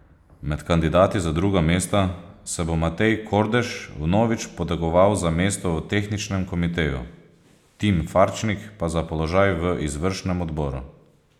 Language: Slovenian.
Med kandidati za druga mesta se bo Matej Kordež vnovič potegoval za mesto v tehničnem komiteju, Tim Farčnik pa za položaj v izvršnem odboru.